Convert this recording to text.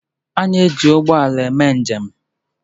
A na-eji ụgbọ ala eme njem.